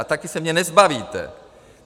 A taky se mě nezbavíte!